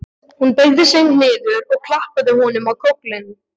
Hún beygði sig niður og klappaði honum á kollinn.